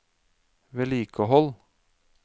vedlikehold